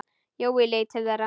Jói leit til þeirra.